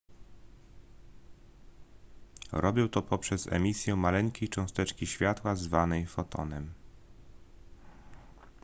robią to poprzez emisję maleńkiej cząsteczki światła zwanej fotonem